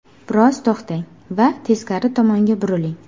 Biroz to‘xtang va teskari tomonga buriling.